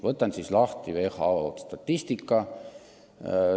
Võtsin lahti WHO statistika.